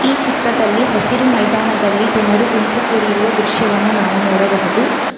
ಈ ಚಿತ್ರದಲ್ಲಿ ಹಸಿರು ಮೈದಾನದಲ್ಲಿ ಜನರು ಗುಂಪು ಕೂಡಿರುವ ದೃಶ್ಯವನ್ನು ನಾವು ನೋಡಬಹುದು.